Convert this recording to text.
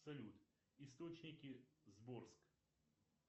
салют источники сборск